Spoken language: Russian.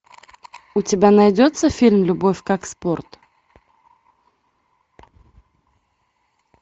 у тебя найдется фильм любовь как спорт